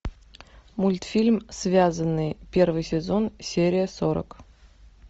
мультфильм связанные первый сезон серия сорок